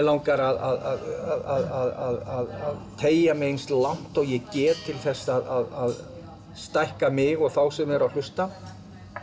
langar að teygja mig eins langt og ég get til að stækka mig og þá sem eru að hlusta